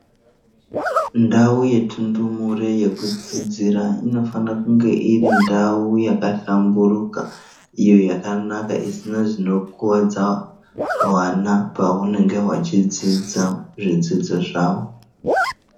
Ndau yetundumure yekudzidzira inofana kunge iri ndau yakahlamburuka iyo yakanaka isina zvinokuwadza wana pawanenge wachidzidza zvidzidzo zvawo.